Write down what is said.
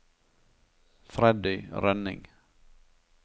Freddy Rønning